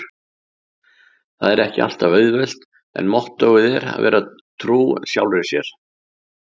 Það er ekki alltaf auðvelt- en mottóið er að vera trú sjálfri mér.